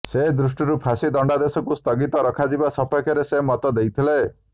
ସେ ଦୃଷ୍ଟିରୁ ଫାଶୀ ଦଣ୍ଡାଦେଶକୁ ସ୍ଥଗିତ ରଖାଯିବା ସପକ୍ଷରେ ସେ ମତ ଦେଇଥିଲେ